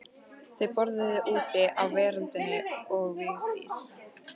Þau borðuðu úti á veröndinni og Vigdís